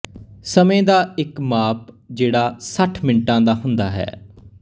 ਸਮੇਂ ਦਾ ਇੱਕ ਮਾਪ ਜਿਹੜਾ ਸੱਠ ਮਿੰਟਾਂ ਦਾ ਹੁੰਦਾ ਹੈ